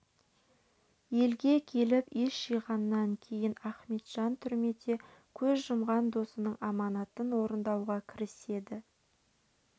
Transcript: елге келіп ес жиғаннан кейін ахметжан түрмеде көз жұмған досының аманатын орындауға кіріседі